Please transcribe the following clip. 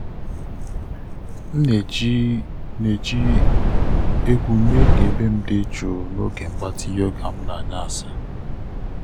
m na-eji na-eji egwu mee ka ebe m dị jụụ n’oge mgbatị yoga m n’anyasị.